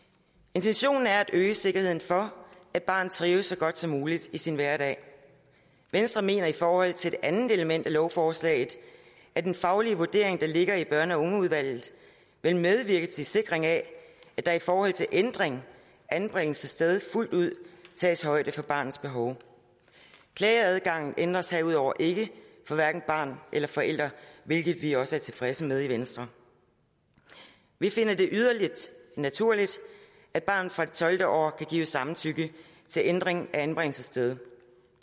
intentionen er at øge sikkerheden for at barnet trives så godt som muligt i sin hverdag venstre mener i forhold til det andet element i lovforslaget at den faglige vurdering der ligger i børn og ungeudvalget vil medvirke til en sikring af at der i forhold til ændring af anbringelsessted fuldt ud tages højde for barnets behov klageadgangen ændres herudover ikke for hverken barn eller forældre hvilket vi også er tilfredse med i venstre vi finder det yderligere naturligt at barnet fra det tolvte år kan give samtykke til ændring af anbringelsessted